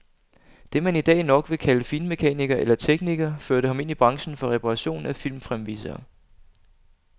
Det man i dag nok vil kalde finmekaniker eller tekniker, førte ham ind i branchen for reparation af filmfremvisere.